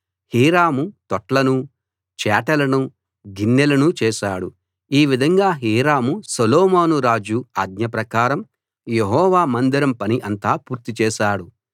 Hiram తొట్లనూ చేటలనూ గిన్నెలనూ చేశాడు ఈ విధంగా హీరాము సొలొమోను రాజు ఆజ్ఞ ప్రకారం యెహోవా మందిరం పని అంతా పూర్తి చేశాడు